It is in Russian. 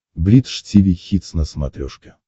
бридж тиви хитс на смотрешке